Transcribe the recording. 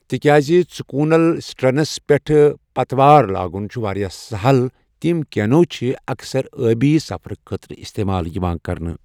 تِکیاز ژُکوٗنل سٹرنس پٮ۪ٹھ پتوار لاگن چھُ واریاہ سہل تِم کینو چھِ اکثر ٲبی سفرٕ خٲطرٕ استعمال یِوان کرنہٕ۔